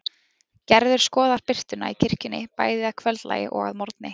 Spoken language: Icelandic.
Gerður skoðar birtuna í kirkjunni, bæði að kvöldlagi og að morgni.